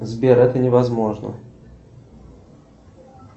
сбер это невозможно